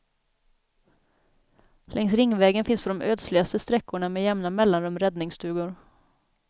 Längs ringvägen finns på de ödsligaste sträckorna med jämna mellanrum räddningsstugor.